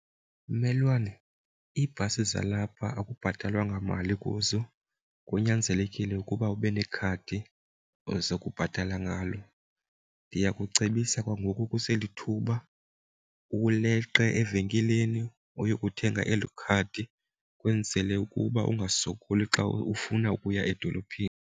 Mmelwane, iibhasi zalapha akubhatalwa mali kuzo kunyanzelekile ukuba ube nekhadi ozokubhatala ngalo. Ndiyakucebisa kwangoku kuselithuba uleqe evenkileni uyokuthenga eli khadi kwenzele ukuba ungasokoli xa ufuna ukuya edolophini.